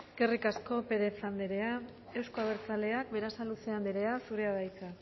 eskerrik asko pérez andrea euzko abertzaleak berasaluze andrea zurea da hitza